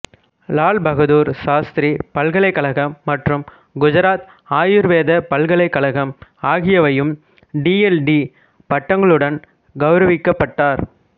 லால் பகதூர் சாஸ்திரி பல்கலைக்கழகம் மற்றும் குஜராத் ஆயுர்வேத பல்கலைக்கழகம் ஆகியவையும் டி எல் டி பட்டங்களுடன் கௌவரவிக்கப்பட்டார்